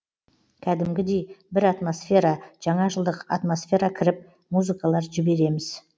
кәдімгідей бір атмосфера жаңа жылдық атмосфера кіріп музыкалар жібереміз